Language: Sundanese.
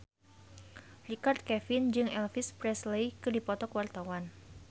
Richard Kevin jeung Elvis Presley keur dipoto ku wartawan